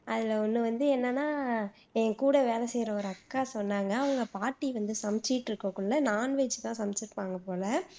அதுல ஒண்ணு வந்து என்னன்னா என் கூட வேலை செய்யுற ஒரு அக்கா சொன்னாங்க அவங்க பாட்டி வந்து சமச்சுட்டு இருக்கக்குள்ள non veg தான் சமைச்சுருப்பாங்க போல